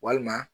Walima